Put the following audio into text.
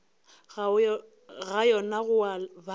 ga yona go a baba